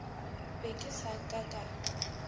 be ke sa ka ka